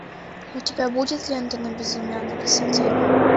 у тебя будет лента на безымянной высоте